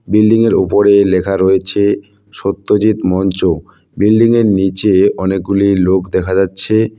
বিল্ডিংয়ের ওপরে লেখা রয়েছে সত্যজিৎ মঞ্চ বিল্ডিংয়ের নীচে অনেকগুলি লোক দেখা যাচ্ছে।